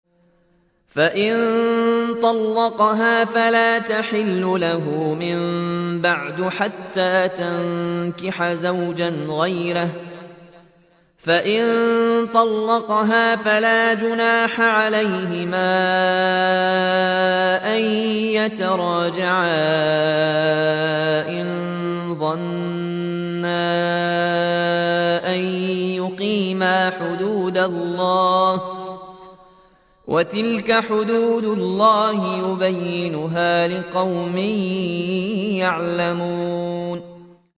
فَإِن طَلَّقَهَا فَلَا تَحِلُّ لَهُ مِن بَعْدُ حَتَّىٰ تَنكِحَ زَوْجًا غَيْرَهُ ۗ فَإِن طَلَّقَهَا فَلَا جُنَاحَ عَلَيْهِمَا أَن يَتَرَاجَعَا إِن ظَنَّا أَن يُقِيمَا حُدُودَ اللَّهِ ۗ وَتِلْكَ حُدُودُ اللَّهِ يُبَيِّنُهَا لِقَوْمٍ يَعْلَمُونَ